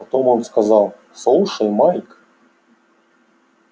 потом он сказал слушай майк